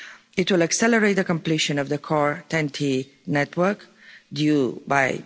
It will accelerate the completion of the Core TEN T network due